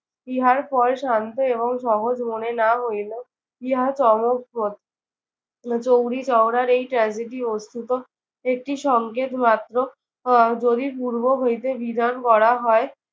ইহার পরে শান্ত এবং সহজ মনে না হইলেও ইহা চমকপ্রদ। চৌরিচৌরার এই tragedy বস্তুত একটি সংকেত মাত্র। আহ যদি পূর্ব হইতে নিধন করা হয়।